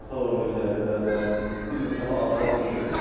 Uşaqlar oynayır həyətdə, yəni bir neçə dəfə ağlay düşüb.